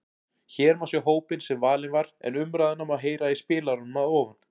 Hér má sjá hópinn sem valinn var en umræðuna má heyra í spilaranum að ofan.